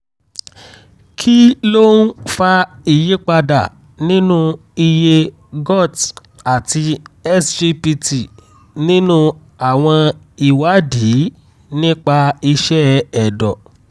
kí ló ń fa ìyípadà nínú iye sgot àti sgpt nínú àwọn ìwádìí nípa iṣẹ́ ẹ̀dọ̀?